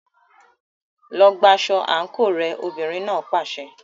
Lọ gba aṣọ àǹkóò rẹ, obìnrin náà pàṣẹ.